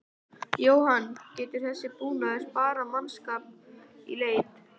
Jóhann: Getur þessi búnaður sparað mannskap í leit?